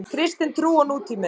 Kristin trú og nútíminn.